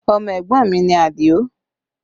Ọmọ ẹ̀gbọ́n mi Adio